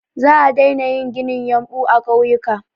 Za a daina yin ginin yumɓu a ƙauyuka.